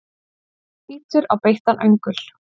Bítur á beittan öngul.